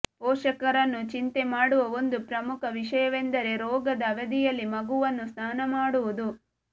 ಪೋಷಕರನ್ನು ಚಿಂತೆ ಮಾಡುವ ಒಂದು ಪ್ರಮುಖ ವಿಷಯವೆಂದರೆ ರೋಗದ ಅವಧಿಯಲ್ಲಿ ಮಗುವನ್ನು ಸ್ನಾನ ಮಾಡುವುದು